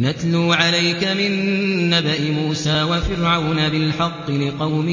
نَتْلُو عَلَيْكَ مِن نَّبَإِ مُوسَىٰ وَفِرْعَوْنَ بِالْحَقِّ لِقَوْمٍ